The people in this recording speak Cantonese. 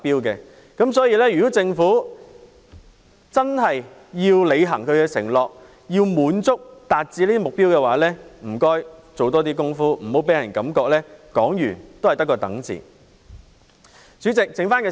所以，如果政府要真正履行承諾，達致這個目標，請多做工夫，不要令人感到政府說完也只得個"等"字。